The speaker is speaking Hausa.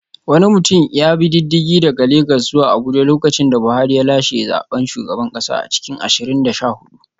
Wani mutum ya bi diddigi daga Legas zuwa Abuja lokacin da Buhari ya lashe zaben shugaban kasa a cikin ashirin da sha hudu